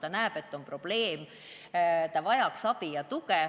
Ta näeb, et tal on probleem, ning ta vajab abi ja tuge.